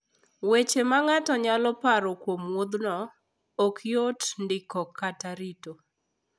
Weche ma ng'ato nyalo paro kuom wuodhno, ok yot ndiko kata rito.